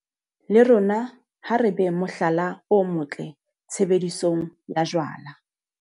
Le rona ha re beng mohlala o motle tshebedisong ya jwala.